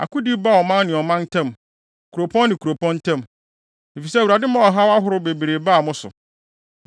Akodi baa ɔman ne ɔman ntam, kuropɔn ne kuropɔn ntam, efisɛ Awurade maa ɔhaw ahorow bebree baa mo so.